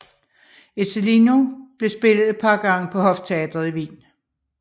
Ezzelino blev spillet et par gange på hofteatret i Wien